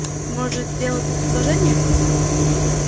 может делал тебе предложение